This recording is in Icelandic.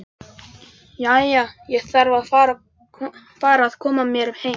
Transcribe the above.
Jæja, ég þarf að fara að koma mér heim